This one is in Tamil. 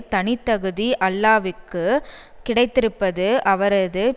தனித்தகுதி அல்லாவிக்கு கிடைத்திருப்பது அவரது